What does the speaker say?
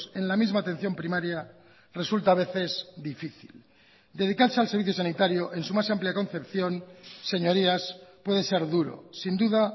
en la misma atención primaria resulta a veces difícil dedicarse al servicio sanitario en su más amplia concepción señorías puede ser duro sin duda